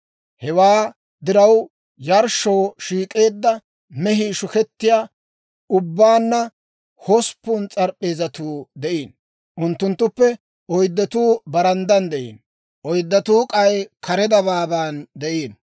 Hewaa diraw, yarshshoo shiik'eedda mehii shukettiyaa ubbaanna hosppun s'arp'p'eezatuu de'iino; unttunttuppe oyddatuu baranddan de'iino; oyddatuu k'ay kare dabaaban de'iino.